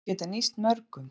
Á að geta nýst mörgum